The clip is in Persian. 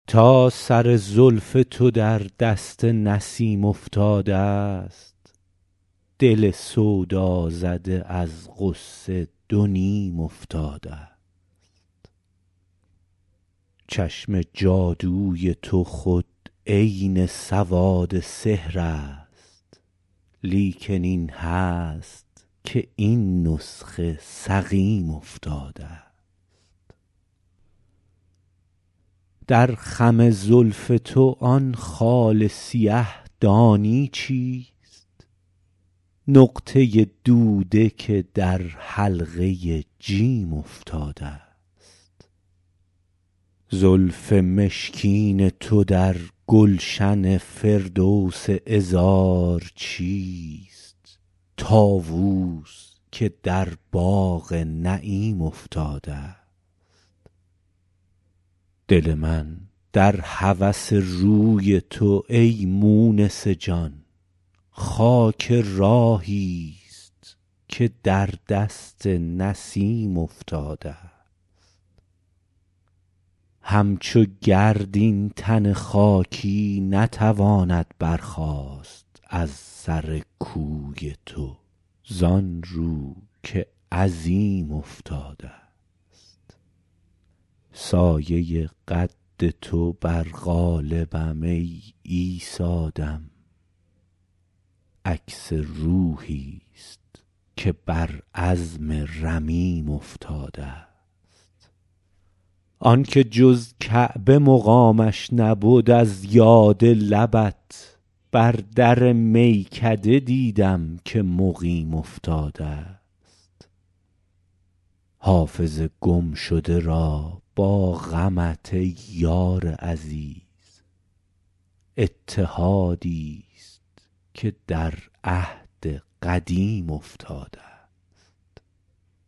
تا سر زلف تو در دست نسیم افتادست دل سودازده از غصه دو نیم افتادست چشم جادوی تو خود عین سواد سحر است لیکن این هست که این نسخه سقیم افتادست در خم زلف تو آن خال سیه دانی چیست نقطه دوده که در حلقه جیم افتادست زلف مشکین تو در گلشن فردوس عذار چیست طاووس که در باغ نعیم افتادست دل من در هوس روی تو ای مونس جان خاک راهیست که در دست نسیم افتادست همچو گرد این تن خاکی نتواند برخاست از سر کوی تو زان رو که عظیم افتادست سایه قد تو بر قالبم ای عیسی دم عکس روحیست که بر عظم رمیم افتادست آن که جز کعبه مقامش نبد از یاد لبت بر در میکده دیدم که مقیم افتادست حافظ گمشده را با غمت ای یار عزیز اتحادیست که در عهد قدیم افتادست